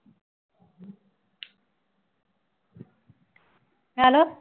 hello